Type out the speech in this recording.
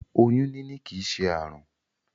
Oyún níní kìí ṣe àrùn.